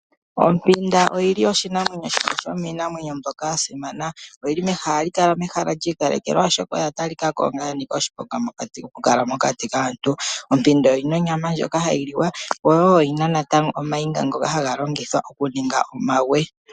Ompinda oyili oshinamwenyo shimwe shomiinamwenyo mbyoka ya simana .Ohayi kala yili mehala lyi ikalekelwa oshoka oya talikako ya nika oshiponga okukala mokati kaantu. Ompinda oyina onyama ndjoka hayi liwa woo yo natango oyina ooniga ndhoka hadhi longithwa okuninga omagwe.